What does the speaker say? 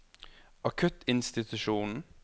akuttinstitusjonen